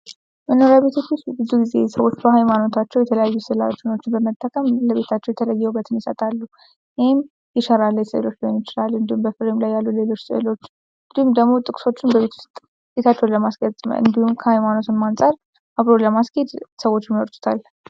በመኖሪያ ቤቶች ውስጥ ብዙ ጊዜ ሰዎች በሐይማኖታቸው የተለያዩ ስዕለ አድኖዎችን በመጠቀም ለቤታቸው የተለየ ውበትን ይሰጣሉ። ይኽም የሸራ ላይ ሰዕሎች ሊሆኑ ይችላል እንዲሁም በፍሬም ላይ ያሉ ሌሎች ስዕሎችም እንዲሁም ደግሞ ጥቅሶችን በቤት ውስጥ ቤታቸውን ለማስጌጥ እንዲሁም ከሐይማኖትም አንፃር አብሮ ለማስሔድ ሰዎች ይመርጡታል።